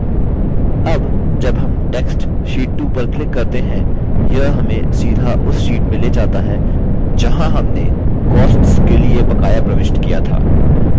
अब जब हम text sheet 2 पर click करते हैं यह हमें सीधा उस sheet में ले जाता है जहाँ हमें costs के लिए बकाया प्रविष्ट किया था